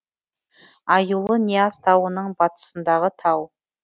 аюлы нияз тауының батысындағы тау